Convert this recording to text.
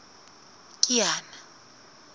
kiana